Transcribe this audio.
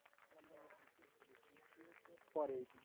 পরে।